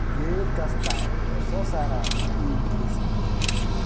Geed kastaa wuxuu soo saaraa iniinkiisa.